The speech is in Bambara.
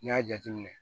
N'i y'a jateminɛ